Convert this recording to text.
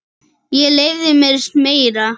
Ég leyfi mér meira.